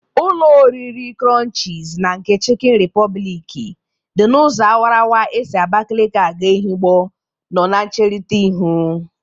Ụlọ orire krọnchịz na nke chịkịn rịpọbịlịkị dị n'ụzọ awarawara esi Abakeleke aga Ehụgbọ nọ na ncherịta iru.